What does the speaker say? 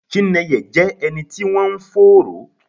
Chinenye jẹ́ ẹni tí wọ́n ń fòòró